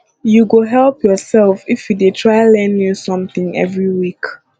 you go help yourself if you dey try learn new something every week